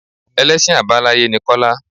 Ẹlẹ́sìn Àbáláyé ni Kọ́lá.